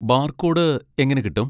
Barcode എങ്ങനെ കിട്ടും?